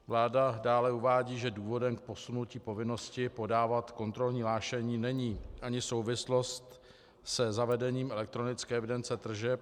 Vláda dále uvádí, že důvodem k posunutí povinnosti podávat kontrolní hlášení není ani souvislost se zavedením elektronické evidence tržeb.